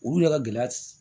Olu de ka gɛlɛ